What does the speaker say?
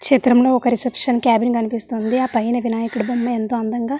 ఈ చిత్రం లో ఒక రిసెప్షన్ క్యాబిన్ కనిపిస్తోంది అ పైనా వినాయకడు బొమ్మ ఎంతో అందంగా --